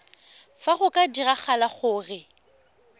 fa go ka diragala gore